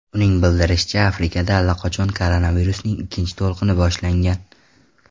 Uning bildirishicha, Afrikada allaqachon koronavirusning ikkinchi to‘lqini boshlangan.